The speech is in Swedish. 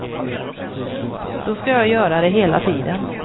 Då ska jag göra det hela tiden.